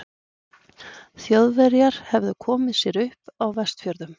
Þjóðverjar hefðu komið sér upp á Vestfjörðum.